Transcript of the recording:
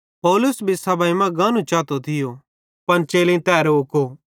पौलुस भी सभाई मां गानू चातो थियो पन चेलेईं तै रोको